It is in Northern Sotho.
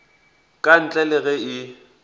ka ntle le ge e